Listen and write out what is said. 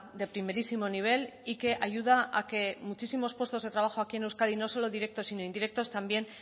de primerísimo nivel y que ayuda a que muchísimos puestos de trabajo aquí en euskadi no solo directos sino indirectos también